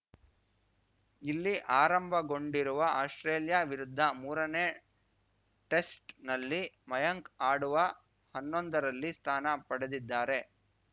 ಇಲ್ಲಿ ಆರಂಭಗೊಂಡಿರುವ ಆಸ್ಪ್ರೇಲಿಯಾ ವಿರುದ್ಧ ಮೂರನೇ ಟೆಸ್ಟ್‌ನಲ್ಲಿ ಮಯಾಂಕ್‌ ಆಡುವ ಹನ್ನೊಂದರಲ್ಲಿ ಸ್ಥಾನ ಪಡೆದಿದ್ದಾರೆ